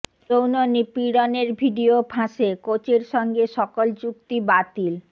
যৌন নিপীড়নের ভিডিও ফাঁসে কোচের সঙ্গে সকল চুক্তি বাতিল